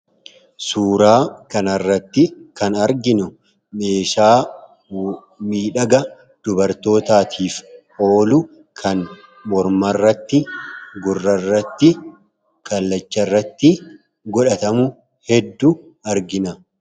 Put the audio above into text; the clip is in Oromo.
Suuraa kana irratti kan arginu, meeshaa miidhaga dubartootaatiif oolu kan morma irratti, gurra irratti, kallacha irratti godhatamu hedduu argina.